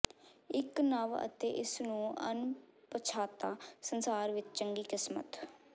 ਇੱਕ ਨਵ ਅਤੇ ਇਸ ਨੂੰ ਅਣਪਛਾਤਾ ਸੰਸਾਰ ਵਿਚ ਚੰਗੀ ਕਿਸਮਤ